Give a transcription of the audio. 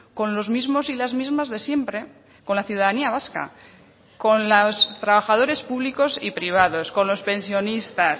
con los mismos y las mismas de siempre con la ciudadanía vasca con los trabajadores públicos y privados con los pensionistas